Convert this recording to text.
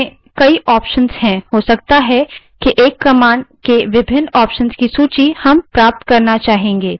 कुछ commands में कई options होते हैं हो सकता है कि एक commands के विभिन्न options की सूची हम प्राप्त करना चाहें